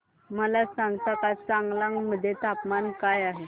मला सांगता का चांगलांग मध्ये तापमान काय आहे